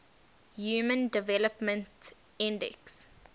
human development index